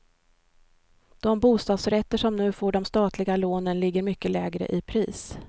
De bostadsrätter som nu får de statliga lånen ligger mycket lägre i pris.